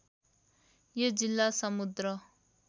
यो जिल्ला समुद्र